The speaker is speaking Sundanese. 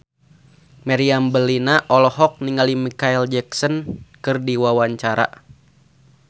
Meriam Bellina olohok ningali Micheal Jackson keur diwawancara